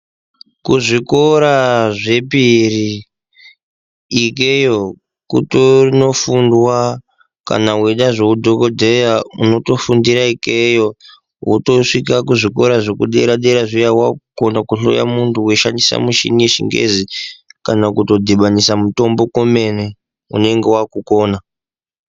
Kuzvikora zvepiri ikeyo kutonofundwa kana weida zveudhokodheya unotofundira ikeyo wotosvika kuzvikora zvekudera dera zviya wakukona kuhloya muntu weishandisa michini yechingezi kana kutodhibhanisa mitombo kwemene unenge wakukona.